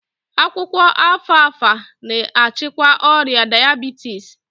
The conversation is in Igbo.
Akwụkwọ Alfalfa na-achịkwa ọrịa dayabitis